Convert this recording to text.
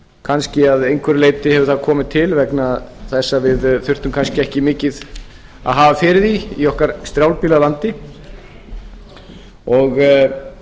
kannski að einhverju leyti hefur það komið til vegna þess að við þurftum kannski ekki mikið að hafa fyrir því í okkar strjálbýla landi og